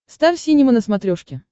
стар синема на смотрешке